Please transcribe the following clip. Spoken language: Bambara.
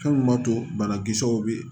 Fɛn min b'a to banakisɛw be yen